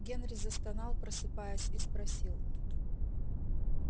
генри застонал просыпаясь и спросил